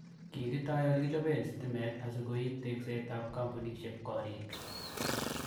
Kigitoi olekichopen stimeet asikoip tekseet ap kampunisheek koriik